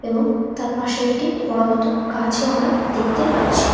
এবং তার পাশে একটি বড়ো মতো গাছও আমরা দেখতে পাচ্ছি ।